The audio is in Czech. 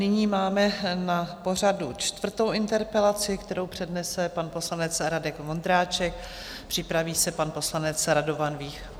Nyní máme na pořadu čtvrtou interpelaci, kterou přednese pan poslanec Radek Vondráček, připraví se pan poslanec Radovan Vích.